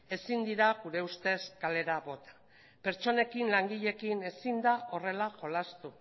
ezin dira gure ustez kalera bota pertsonekin langileekin ezin da horrela jolastu